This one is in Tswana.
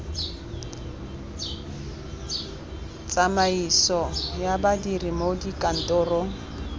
tsamaiso ya badiri mo dikantorong